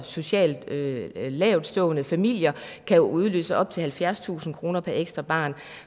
socialt lavtstående familier kan jo udløse op til halvfjerdstusind kroner per ekstra barn